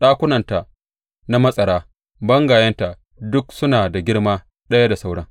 Ɗakunanta na matsara, bangayenta duk suna da girma ɗaya da sauran.